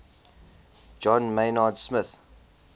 john maynard smith